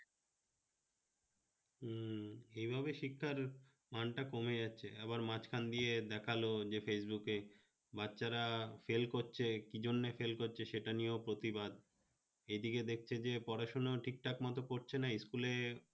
উম এইভাবে শিক্ষার মান টা কমে যাচ্ছে আবার মাঝখান দিয়ে দেখালো যে facebook এ বাচ্চারা fail করছে, কি জন্য fail করছে? সেটা নিয়ে প্রতিবাদ, এই দিকে দেখছে যে পড়াশোনা ঠিক-ঠাক মতো করছে না school এ